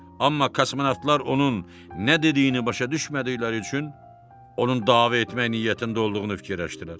Amma kosmonavtlar onun nə dediyini başa düşmədikləri üçün onun dava etmək niyyətində olduğunu fikirləşdilər.